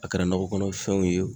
A kɛra nakɔ kɔnɔfɛnw ye